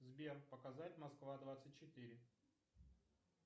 сбер показать москва двадцать четыре